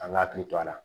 An ka hakili to a la